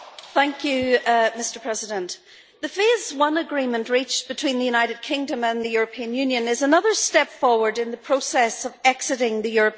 Mr President, the Phase 1 agreement reached between the United Kingdom and the European Union is another step forward in the process of exiting the European Union.